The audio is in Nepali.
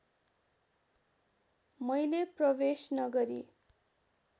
मैले प्रवेश नगरी